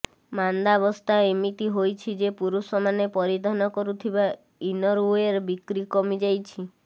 ମାନ୍ଦାବସ୍ଥା ଏମିତି ହୋଇଛି ଯେ ପୁରୁଷମାନେ ପରିଧାନ କରୁଥିବା ଇନରୱେୟାର ବିକ୍ରି କମିଯାଇଛି